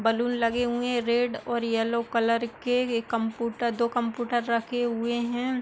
Balloon लगे हुए है रेड और येलो कलर के एक कम्प्यूटर दो कम्प्यूटर रखे हुए है।